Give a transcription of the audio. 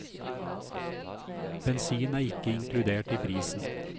Bensin er ikke inkludert i prisen.